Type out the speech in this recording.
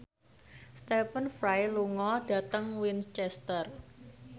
Stephen Fry lunga dhateng Winchester